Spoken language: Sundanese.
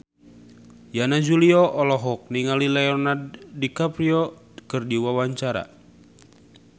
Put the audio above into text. Yana Julio olohok ningali Leonardo DiCaprio keur diwawancara